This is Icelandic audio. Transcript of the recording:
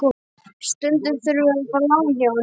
Stundum þurfum við að fá lán hjá henni.